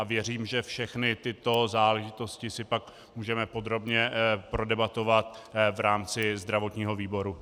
A věřím, že všechny tyto záležitosti si pak můžeme podrobně prodebatovat v rámci zdravotního výboru.